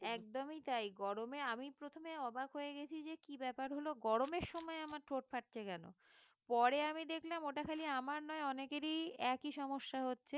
একদমই তাই গরমে আমি প্রথমে অবাক হয়ে গেছি যে কি ব্যাপার হল গরমের সময় আমার ঠোঁট ফাটছে কেন পরে আমি দেখলাম ওটা খালি আমার নয় অনেকেরই একই সমস্যা হচ্ছে